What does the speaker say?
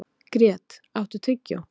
Grét, áttu tyggjó?